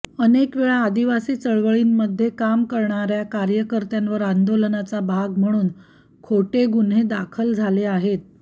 अनेक वेळा आदिवासी चळवळींमध्ये काम करणार्या कार्यकर्त्यांवर आंदोलनाचा भाग म्हणून खोटे गुन्हे दाखल झाले आहेत